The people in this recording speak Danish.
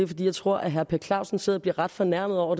fordi jeg tror at herre per clausen sidder og bliver ret fornærmet over